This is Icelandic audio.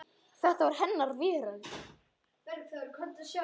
Þetta var hennar veröld.